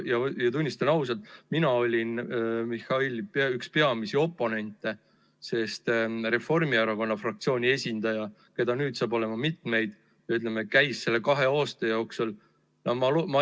Ja tunnistan ausalt, mina olin Mihhaili üks peamisi oponente, sest Reformierakonna fraktsiooni esindaja, käis selle kahe aasta jooksul kohal – ma eeldan, et ma ei tea liiga, kui nii ütlen – ehk kolmel korral.